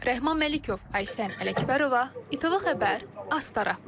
Rəhman Məlikov, Aysən Ələkbərova, İTV Xəbər, Astara.